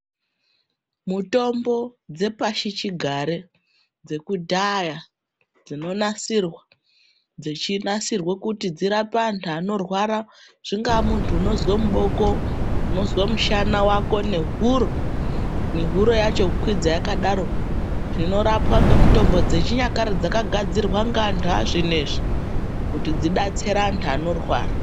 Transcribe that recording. Mutombo dzepashichigare dzekudhaya dzinonasirwa, dzechinasirwe kuti dzirape antu anorwara. Zvingaa muntu unozwe muboko, unozwe mushana wako, nehuro, nehuro yacho kukwidza yakadaro. Zvinorapwa ngemutombo dzechinyakare dzakagadzirwa ngeantu azvinezvi, kuti dzidetsere antu anorwara.